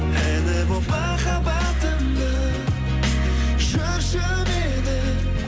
әні болып махаббатымның жүрші менің